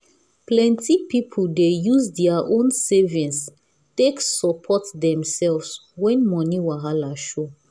plenty people dey use their own savings take support themselves when money wahala show.